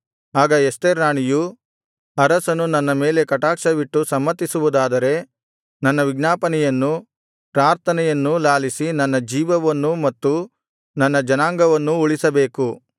ಆಗ ಎಸ್ತೇರ್ ರಾಣಿಯು ಅರಸನು ನನ್ನ ಮೇಲೆ ಕಟಾಕ್ಷವಿಟ್ಟು ಸಮ್ಮತಿಸುವುದಾದರೆ ನನ್ನ ವಿಜ್ಞಾಪನೆಯನ್ನೂ ಪ್ರಾರ್ಥನೆಯನ್ನೂ ಲಾಲಿಸಿ ನನ್ನ ಜೀವವನ್ನೂ ಮತ್ತು ನನ್ನ ಜನಾಂಗವನ್ನೂ ಉಳಿಸಬೇಕು